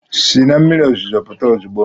Si na mmiri ozuzo pụta ozugbo!